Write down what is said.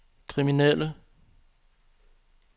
kriminelle